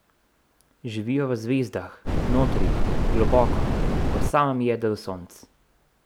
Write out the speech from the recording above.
Živijo v zvezdah, notri, globoko, v samem jedru sonc.